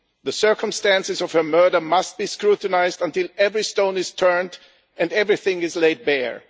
The circumstances of her murder must be scrutinised until every stone is turned and everything is laid bare.